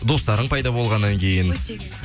достарың пайда болғаннан кейін